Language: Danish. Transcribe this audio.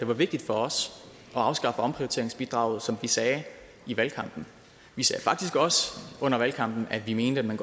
det var vigtigt for os at afskaffe omprioriteringsbidraget sådan som vi sagde i valgkampen vi sagde faktisk også under valgkampen at vi mener at man